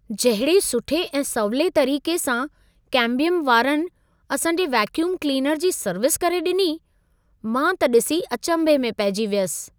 जहिड़े सुठे ऐं सवले तरीक़े सां केम्बियम वारनि असां जे वेक्यूम क्लीनर जी सर्विस करे ॾिनी, मां त ॾिसी अचंभे में पइजी वयसि।